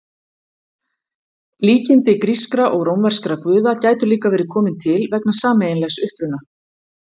Líkindi grískra og rómverskra guða gætu líka verið komin til vegna sameiginlegs uppruna.